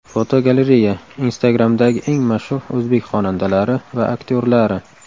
Fotogalereya: Instagram’dagi eng mashhur o‘zbek xonandalari va aktyorlari.